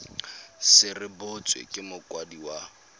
se rebotswe ke mokwadisi wa